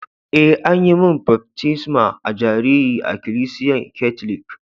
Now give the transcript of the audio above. Eh, an yi mun baftisma a'jariri a'ikilisiyan katlic.